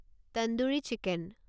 tandoori chicken